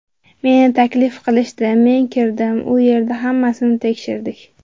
Meni taklif qilishdi, men kirdim, u yerda hammasini tekshirdik.